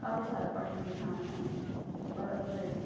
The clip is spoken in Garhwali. काफी सारा पटरी दिख्येणा छन बड़ा वेसी --